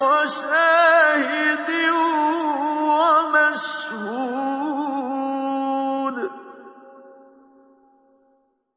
وَشَاهِدٍ وَمَشْهُودٍ